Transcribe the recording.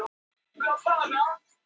Róslinda, lækkaðu í hátalaranum.